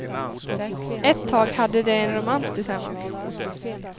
Ett tag hade de en romans tillsammans.